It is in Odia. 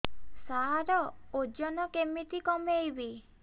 ସାର ଓଜନ କେମିତି କମେଇବି